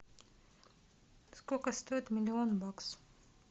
сколько стоит миллион баксов